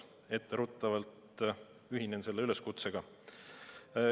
Etteruttavalt ühinen selle üleskutsega.